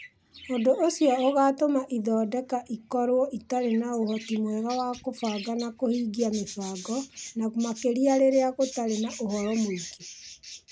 Ũndũ ũcio ũgatũma ithondeka ikorũo itarĩ na ũhoti mwega wa kũbanga na kũhingia mĩbango, na makĩria rĩrĩa gũtarĩ na ũhoro mũingĩ.